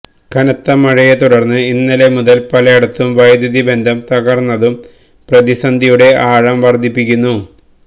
കനത്ത മഴയെത്തുടര്ന്ന് ഇന്നലെ മുതല് പലേടത്തും വൈദ്യുതി ബന്ധം തകര്ന്നതും പ്രതിസന്ധിയുടെ ആഴം വര്ദ്ധിപ്പിക്കുന്നു